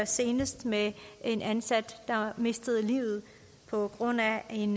senest med en ansat der mistede livet på grund af en